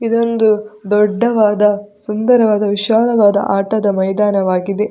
ಇದೊಂದು ದೊಡ್ಡವಾದ ಸುಂದರವಾದ ವಿಶಾಲವಾದ ಆಟದ ಮೈದಾನವಾಗಿದೆ.